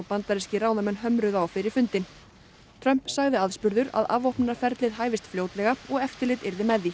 bandarískir ráðamenn hömruðu á fyrir fundinn Trump sagði aðspurður að afvopnunarferlið hæfist fljótlega og eftirlit yrði með því